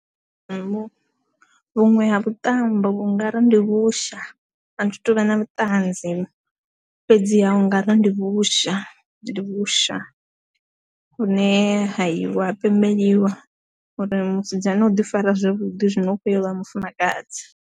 Nnḓu vhuṅwe ha vhuṱambo vhunga ri ndi vhusha a thi tuvha na vhuṱanzi fhedzi ha u nga ri ndi vhusha, ndi vhusha vhune ha itiwa ha pembeliwa uri musidzana u ḓi fara zwavhuḓi zwino u khou ya uvha mufumakadzi.